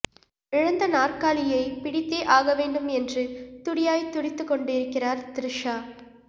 இழந்த நாற்காலியை பிடித்தே ஆக வேண்டும் என்று துடியாய் துடித்துக் கொண்டிருக்கிறார் த்ரிஷா